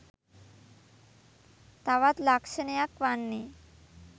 තවත් ලක්ෂණයක් වන්නේ